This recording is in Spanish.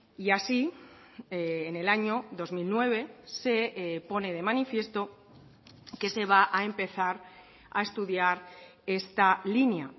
y así en el año dos mil nueve se pone de manifiesto que se va a empezar a estudiar esta línea